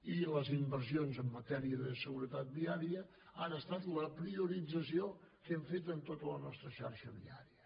i les inversions en matèria de seguretat viària han estat la priorització que hem fet en tota la nostra xarxa viària